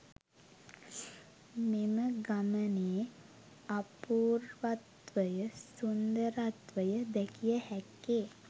මෙම ගමනේ අපූර්වත්වය, සුන්දරත්වය දැකිය හැක්කේ